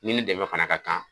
Min ni dɛmɛ fana ka kan